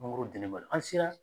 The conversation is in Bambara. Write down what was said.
Mangoro dennen ba do an sera